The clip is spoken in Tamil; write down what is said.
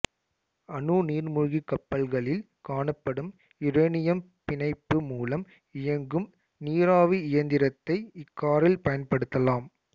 அணு நீர்மூழ்கிக் கப்பல்களில் காணப்படும் யுரேனியம் பிணைப்பு மூலம் இயங்கும் நீராவி இயந்திரத்தை இக்காரில் பயன்படுத்தலாம்